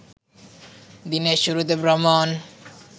দিনের শুরুতে ভ্রমণ